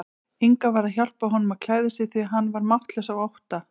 Inga varð að hjálpa honum að klæða sig því hann var máttlaus af ótta.